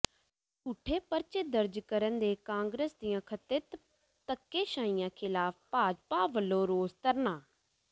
ਝੂਠੇ ਪਰਚੇ ਦਰਜ ਕਰਨ ਤੇ ਕਾਂਗਰਸ ਦੀਆਂ ਕਥਿਤ ਧੱਕੇਸ਼ਾਹੀਆਂ ਿਖ਼ਲਾਫ਼ ਭਾਜਪਾ ਵੱਲੋਂ ਰੋਸ ਧਰਨਾ